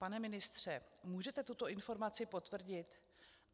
Pane ministře, můžete tuto informaci potvrdit?